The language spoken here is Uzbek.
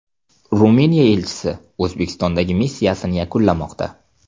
Ruminiya elchisi O‘zbekistondagi missiyasini yakunlamoqda.